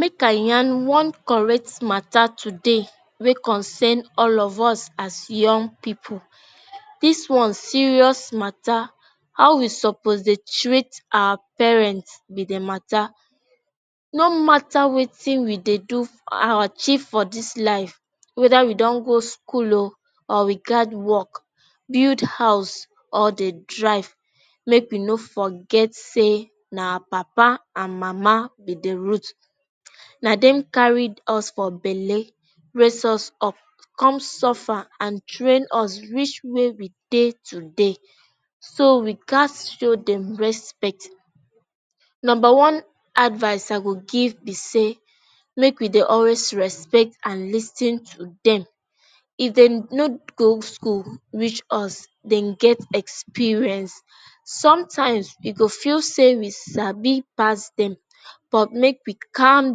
make i yan one correct matter today wey concern all of us as young pipo dis one serious matter how we suppose dey treat our parent be di matter no matter wetin we dey do our chief for dis life weda we don go school o or we gad work build house or dey drive make we no forget say na our papa and mama be the root na dem carry us for belle race us up come suffer and train us rich we're we dey today so we gat show them respect number one advise I go give be say make we dey always respect and lis ten to dem if dem no go skool reach us dem get experience sometimes we e go fill say we sabi pass dem but make we calm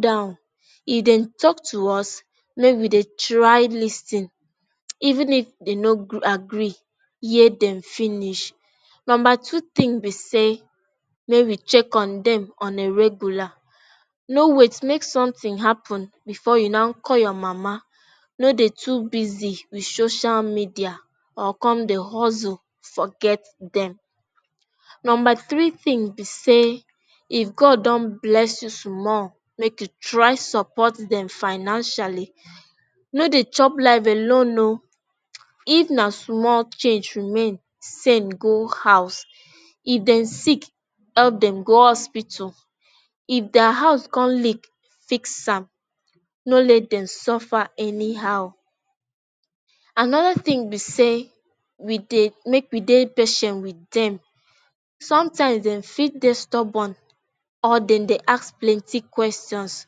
down if dem talk to us make we dey try lis ten even if dem no go greagree yet dem finish number two tin be say make we check on dem on a regular no wait make something happen before you now call your mama no dey too busy with social media or come dey huzzle forget dem number three tin be say if God don bless you small make you try support dem financially no dey chop life alone o if na small change remain send go house if dem sick help dem go hospital if there house come lick fix am no let dem suffer anyhow another tin be say we dey make we dey patient with dem sometimes dey fit dey stubborn or dem dey ask plenty questions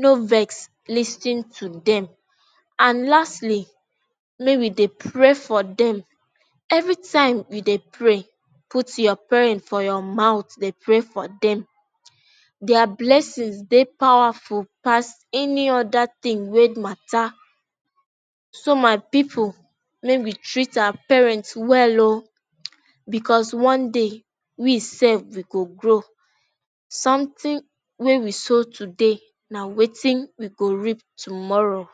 no vess lis ten to dem and lastly make we dey pray for dem every time we dey pray put your for your mouth dey pray for dem their blessings dey powerful pass any other tin way matter so my people make we treat our parents well o because one day we self we go grow something way we soul today na wetin we go reap tomorrow.